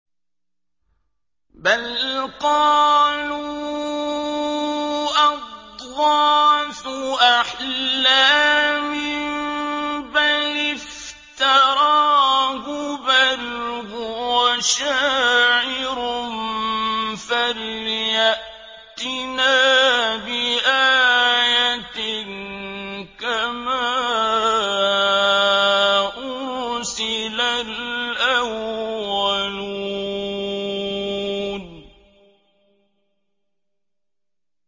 بَلْ قَالُوا أَضْغَاثُ أَحْلَامٍ بَلِ افْتَرَاهُ بَلْ هُوَ شَاعِرٌ فَلْيَأْتِنَا بِآيَةٍ كَمَا أُرْسِلَ الْأَوَّلُونَ